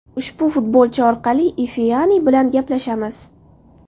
Ushbu futbolchi orqali Ifeani Ifeani bilan gaplashamiz.